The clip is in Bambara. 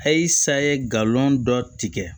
Ayisa ye galon dɔ tigɛ